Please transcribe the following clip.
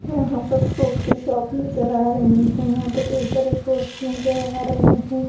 यहाँ पर फ्रूट के शॉप नज़र आ रही हैं यहाँ पे कई सारे फ्रूट्स नज़र आ रहे हैं।